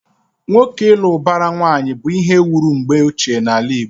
Nwoke ịlụ ụbara nwaanyị bụ ihe wuru mgbe ochie n'ala Igbo.